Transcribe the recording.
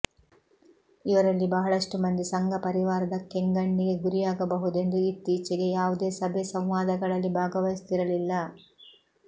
ಇವರಲ್ಲಿ ಬಹಳಷ್ಟು ಮಂದಿ ಸಂಘ ಪರಿವಾರದ ಕೆಂಗಣ್ಣಿಗೆ ಗುರಿಯಾಗಬಹುದೆಂದು ಇತ್ತೀಚೆಗೆ ಯಾವುದೇ ಸಭೆ ಸಂವಾದಗಳಲ್ಲಿ ಭಾಗವಹಿಸುತ್ತಿರಲಿಲ್ಲ